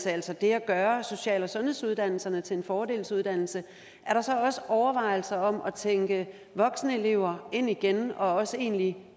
altså det at gøre social og sundhedsuddannelserne til fordelsuddannelse er der så også overvejelser om at tænke voksenelever ind igen og også en egentlig